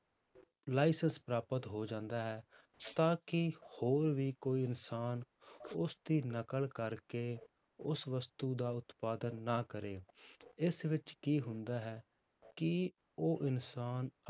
licence ਪ੍ਰਾਪਤ ਹੋ ਜਾਂਦਾ ਹੈ, ਤਾਂ ਕਿ ਹੋਰ ਵੀ ਕੋਈ ਇਨਸਾਨ ਉਸਦੀ ਨਕਲ ਕਰਕੇ ਉਸ ਵਸਤੂ ਦਾ ਉਤਪਾਦਨ ਨਾ ਕਰੇ, ਇਸ ਵਿੱਚ ਕੀ ਹੁੰਦਾ ਹੈ ਕਿ ਉਹ ਇਨਸਾਨ